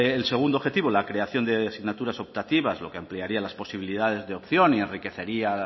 el segundo objetivo la ceración de signaturas optativas lo que ampliaría las posibilidades de opción y enriquecería